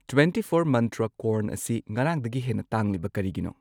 Twenty four Mantra corn ꯑꯁꯤ ꯉꯔꯥꯡꯗꯒꯤ ꯍꯦꯟꯅ ꯇꯥꯡꯂꯤꯕ ꯀꯔꯤꯒꯤꯅꯣ?